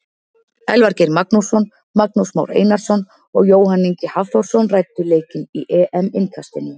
Elvar Geir Magnússon, Magnús Már Einarsson og Jóhann Ingi Hafþórsson ræddu leikinn í EM innkastinu.